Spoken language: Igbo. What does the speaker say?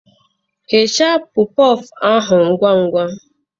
Ghechaa pofụụ ahụ ngwa ngwa